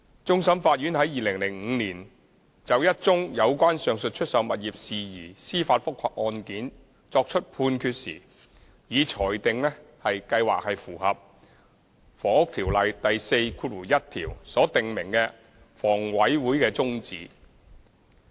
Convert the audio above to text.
終審法院在2005年就一宗有關上述出售物業事宜司法覆核案件作出判決時，已裁定計劃符合《房屋條例》第41條所訂明的房委會的宗旨。